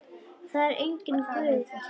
Það er enginn Guð til.